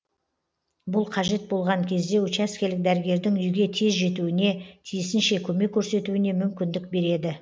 бұл қажет болған кезде учаскелік дәрігердің үйге тез жетуіне тиісінше көмек көрсетуіне мүмкіндік береді